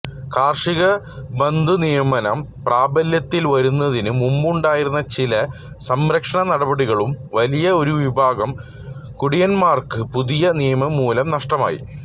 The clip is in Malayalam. കാർഷികബന്ധനിയമം പ്രാബല്യത്തിൽ വരുന്നതിന് മുമ്പുണ്ടായിരുന്ന ചില സംരക്ഷണനടപടികളും വലിയ ഒരു വിഭാഗം കുടിയാൻമാർക്ക് പുതിയ നിയമം മൂലം നഷ്ടമായി